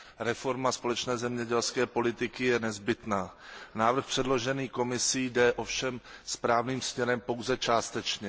Reforma společné zemědělské politiky je nezbytná. Návrh předložený Komisí jde ovšem správným směrem pouze částečně.